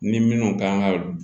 Ni minnu kan ka